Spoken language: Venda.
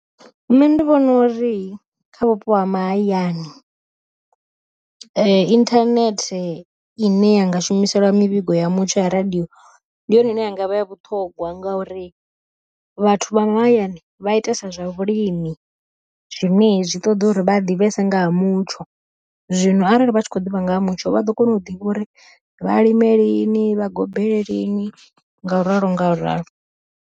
Nṋe ndi vhona uri kha vhupo ha mahayani, inthanethe ine yanga shumiselwa mivhigo ya mutsho ya radiyo, ndi yone ine yanga vha ya vhuṱhogwa. Ngauri vhathu vha mahayani vha itesa zwa vhulimi, zwine zwi ṱoḓa uri vha ḓivhese ngaha mutsho, zwino arali vha tshi kho ḓivha nga ha mutsho vha ḓo kona u ḓivha uri vhalime lini vha gobele lini ngauralo ngauralo.